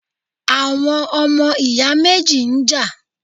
Àwọn ọmọ ìyá méjì ń jà